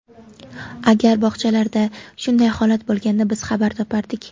Agar bog‘chalarda shunday holat bo‘lganda, biz xabar topardik.